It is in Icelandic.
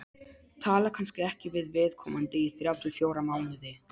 Tala kannski ekki við viðkomandi í þrjá til fjóra mánuði.